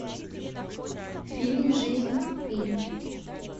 фильм жизнь пи